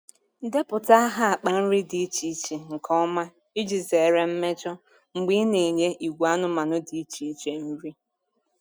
Depụta aha akpa nri dị iche iche nke ọma iji zere mmejọ mgbe ị na-enye ìgwè anụmanụ dị iche iche nri.